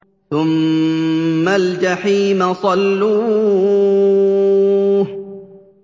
ثُمَّ الْجَحِيمَ صَلُّوهُ